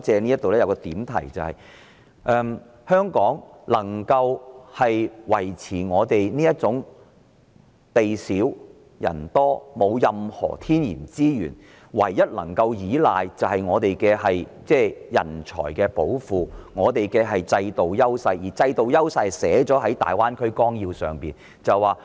不過，我想借這個環節作一個點題，就是香港地小人多，沒有任何天然資源，唯一能夠依賴的是人才寶庫及制度優勢，而這種優勢已寫在大灣區綱要內。